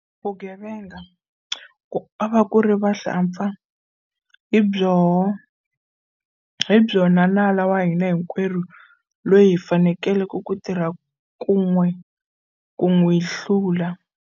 Vugevenga, ku nga ri vahlampfa, hi byona nala wa hina hinkwerhu loyi hi faneleke ku tirha kun'we ku n'wi hlula.